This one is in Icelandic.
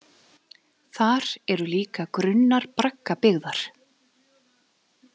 Þar eru líka grunnar braggabyggðar.